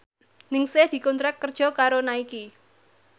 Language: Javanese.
Ningsih dikontrak kerja karo Nike